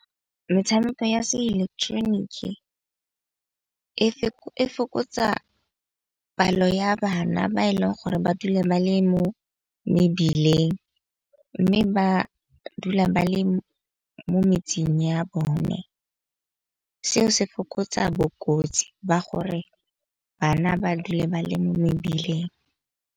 Metshameko ya se ileketeroniki e fokotsa palo ya bana ba e leng gore ba dule ba le mo mebileng. Mme ba dula ba le mo metseng ya bone, seo se fokotsa bokotsi ba gore bana ba dule ba le mo mebileng.